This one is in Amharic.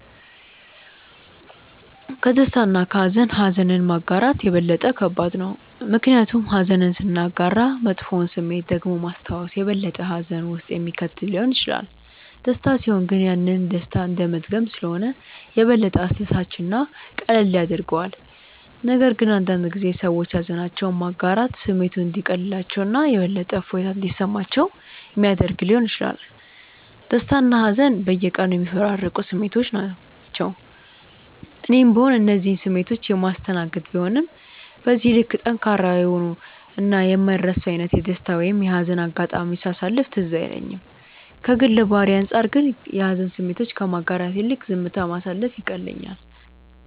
ከደስታ እና ከሃዘን ኀዘንን ማጋራት የበለጠ ከባድ ነው። ምክንያቱም ኀዘንን ስናጋራ መጥፎውን ስሜት ደግሞ ማስታወስ የበለጠ ሀዘን ውስጥ የሚከት ሊሆን ይችላል። ደስታ ሲሆን ግን ያንን ደስታ እንደመድገም ስለሆነ የበለጠ አስደሳች እና ቀላል ያደርገዋል፤ ነገር ግን አንዳንድ ጊዜ ሰዎች ሃዘናቸውን ማጋራት ስሜቱ እንዲቀልላቸው እና የበለጠ እፎይታ እንዲሰማቸው ሚያደረግ ሊሆን ይችላል። ደስታና ሀዘን በየቀኑ የሚፈራረቁ ስሜቶች ናቸው። እኔም ብሆን እነዚህን ስሜቶች የማስተናገድ ቢሆንም በዚህ ልክ ጠንካራ የሆኑ እና የማይረሱ አይነት የደስታ ወይም የሀዘን አጋጣሚዎችን ሳሳለፍ ትዝ አይለኝም። ከግል ባህሪዬ አንጻር ግን የሀዘን ስሜቶችን ከማጋራት ይልቅ ዝምታ ማሳለፍ ይቀለኛል።